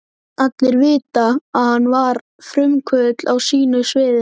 Allir vita, að hann var frumkvöðull á sínu sviði.